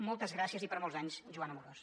moltes gràcies i per molts anys joan amorós